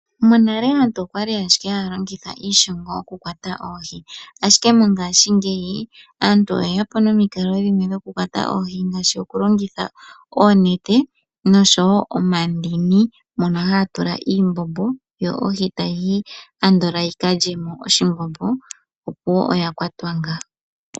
Monale okwali ashike haya longitha iishongo oku kwata oohi. Mongashingeyi aantu oyeya po nomikalo dha yooloka okukwata oohi ngaashi okulongitha oonete oshowo omandini mono mwa tulwa iimbombo, ohi oha yiyi mo ando yi kale iimbombo opuwo oya kwatwa nga.